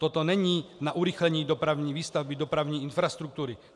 Toto není na urychlení dopravní výstavby, dopravní infrastruktury.